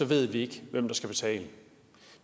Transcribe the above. ved vi ikke hvem der skal betale